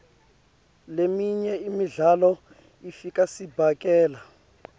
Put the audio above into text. leminye imidlalo ifaka sibhakela